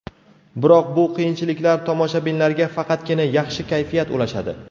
Biroq bu qiyinchiliklar tomoshabinlarga faqatgina yaxshi kayfiyat ulashadi.